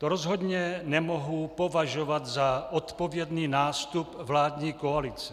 To rozhodně nemohu považovat za odpovědný nástup vládní koalice.